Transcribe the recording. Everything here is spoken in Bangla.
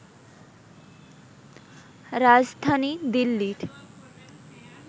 রাজধানী দিল্লির